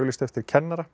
eftir kennara